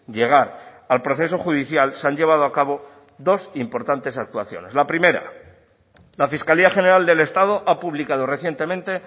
llegar al proceso judicial se han llevado a cabo dos importantes actuaciones la primera la fiscalía general del estado ha publicado recientemente